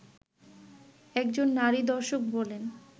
একজন নারী দর্শক বলেন